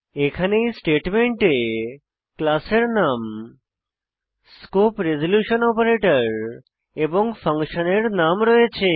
এখানে এ স্টেটমেন্টে ক্লাস এর নাম স্কোপ রেজল্যুশন অপারেটর এবং ফাংশনের নাম রয়েছে